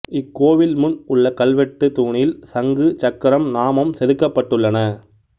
இக்கோவில் முன் உள்ள கல்வெட்டு தூணில் சங்கு சக்கரம் நாமம் செதுக்கபட்டுள்ளன